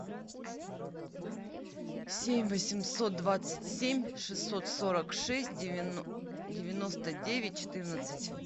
семь восемьсот двадцать семь шестьсот сорок шесть девяносто девять четырнадцать